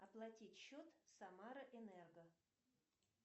оплатить счет самара энерго